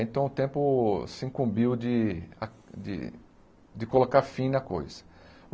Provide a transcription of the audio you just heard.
Então o tempo se incumbiu de a de de colocar fim na coisa.